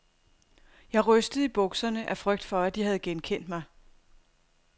Jeg rystede i bukserne af frygt for, at de havde genkendt mig.